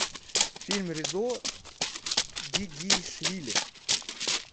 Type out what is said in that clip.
фильм резо гигинеишвили